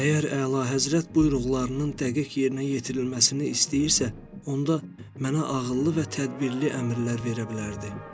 Əgər əlahəzrət buyruqlarının dəqiq yerinə yetirilməsini istəyirsə, onda mənə ağıllı və tədbirli əmrlər verə bilərdi.